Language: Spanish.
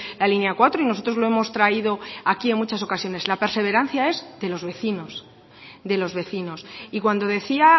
la línea cuatro y nosotros lo hemos traído aquí en muchas ocasiones la perseverancia es de los vecinos de los vecinos y cuando decía